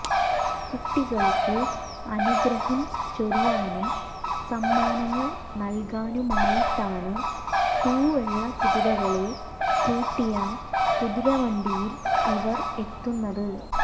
കുട്ടികൾക്ക് അനുഗ്രഹം ചൊരിയാനും സമ്മാനങ്ങൾ നൽകാനുമായിട്ടാണ് തൂവെള്ള കുതിരകളെ പൂട്ടിയ കുതിരവണ്ടിയിൽ ഇവർ എത്തുന്നത്